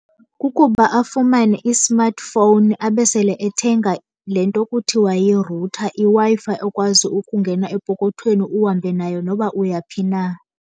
Kukuba afumane i-smartphone abe sele ethenga le nto kuthiwa yi-router, iWi-Fi ekwazi ukungena epokothweni uhambe nayo noba uyaphi na.